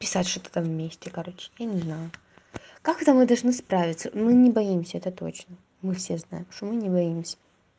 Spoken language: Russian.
писать что такое вместе короче я не знаю как это мы должны справиться мы не боимся это точно мы все знаем что мы не боимся